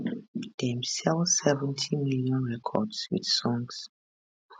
dem sell 70 million records with songs